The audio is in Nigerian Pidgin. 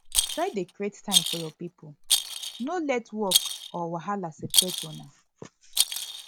try dey create time for yur pipo no let work or wahala separate una